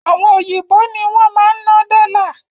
Àwọn òyìnbó ní wọn máa ń ná dọ́là